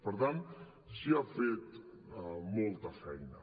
per tant s’hi ha fet molta feina